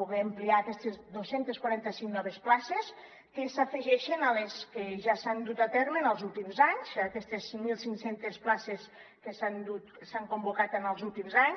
poder ampliar aquestes dos cents i quaranta cinc noves places que s’afegeixen a les que ja s’han dut a terme en els últims anys aquestes mil cinc cents places que s’han convocat en els últims anys